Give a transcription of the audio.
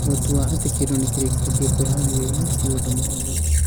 Gũtua atĩ kĩndũ nĩ kĩrĩkĩre kwĩhaarĩria ti ũndũ mũhũthũ